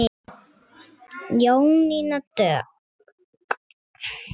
Jónína Dögg.